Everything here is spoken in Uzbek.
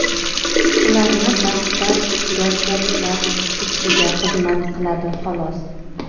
ularni battar gazzaklab ketishiga xizmat qiladi, xolos.